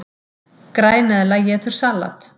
Græneðla étur salat!